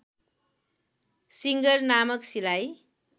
singer नामक सिलाइ